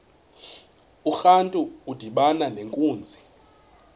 urantu udibana nenkunzi